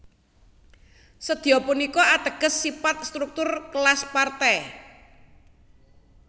Sedya punika ateges sipat struktur kelas Partai